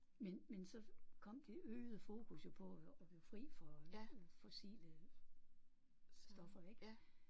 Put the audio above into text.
Men men så kom det øgede fokus jo på at at blive fri for fossile stoffer ik